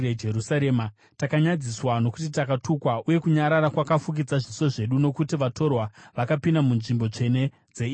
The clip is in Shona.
“Takanyadziswa, nokuti takatukwa uye nyadzi dzinofukidza zviso zvedu, nokuti vatorwa vakapinda munzvimbo tsvene dzeimba yaJehovha.”